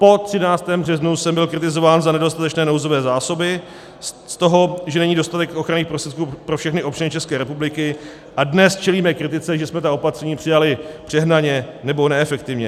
Po 13. březnu jsem byl kritizován za nedostatečné nouzové zásoby, z toho, že není dostatek ochranných prostředků pro všechny občany České republiky, a dnes čelíme kritice, že jsme ta opatření přijali přehnaně nebo neefektivně.